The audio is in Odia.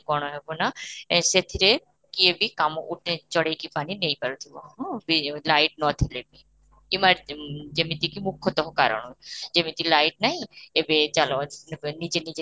କଣ ହେବ ନା ଏ ସେଥିରେ କିଏ ବି କାମ ଉଠେଇ ଚଢେଇ କି ପାନି ନେଇ ପାରୁ ଥିବ ହଁ, light ନ ଥିଲେ ବି ଯେମିତି କି ମୁଖ୍ୟତକ କାରଣ ଯେମିତି light ନାହିଁ ଏବେ ଚାଲ ଅଃ ନିଜେ ନିଜେ